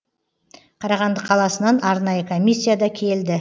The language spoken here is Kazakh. қарағанды қаласынан арнайы комиссия да келді